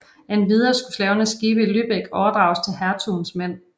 Endvidere skulle slavernes skibe i Lübeck overdrages til hertugens mænd